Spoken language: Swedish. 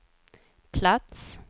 plats